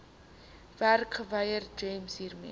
werkgewer gems hiermee